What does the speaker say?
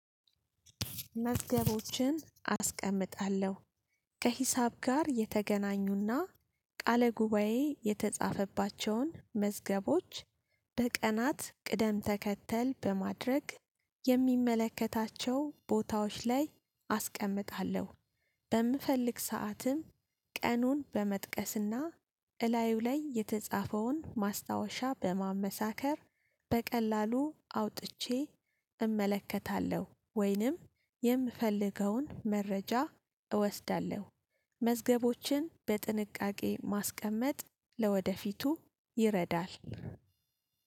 መዝገቦችን አስቀምጣለሁ ከሂሳብ ጋር የተገናኙና ቃለ ጉባኤ የተጻፈባቸውን መዝገቦች በቀናት ቅደም ተከተል በማድረግ የሚመለከታቸው ቦታዎች ላይ አስቀምጣለሁ። በምፈልግ ሰዓትም ቀኑን በመጥቀስና እላዩ ላይ የተጻፈውን ማስታወሻ በማመሳከር በቀላሉ አውጥቼ እመለከታለሁ። ወይንም የምፈልገውን መረጃ እወስዳለሁ። መዝገቦችን በጥንቃቄ ማስቀመጥ ለወደፊቱ ይረዳል።